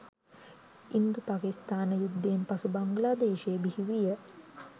ඉන්දුපකිස්ථාන යුද්ධයෙන් පසු බංග්ලාදේශය බිහි විය